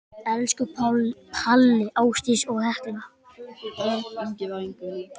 Elsku Palli, Ásdís og Hekla.